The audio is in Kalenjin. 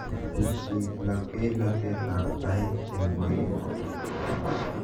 Teshi labkeinatetab tait eng koin oo